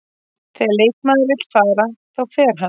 Þegar leikmaður vill fara, þá fer hann.